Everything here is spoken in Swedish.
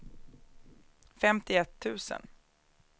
femtioett tusen